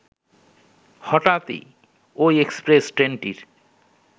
হঠাৎ-ই ওই এক্সপ্রেস ট্রেনটির